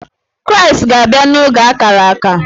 Kraịstị ga-abịa n’oge ákárà ákà